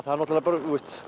er náttúrulega bara